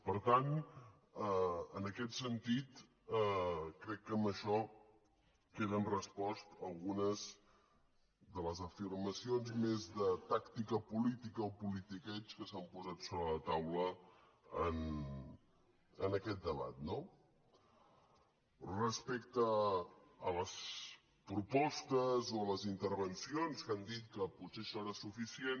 per tant en aquest sentit crec que amb això queden respostes algunes de les afirmacions més de tàctica política o politiqueig que s’han posat sobre la taula en aquest debat no respecte a les propostes o a les intervencions que han dit que potser serà suficient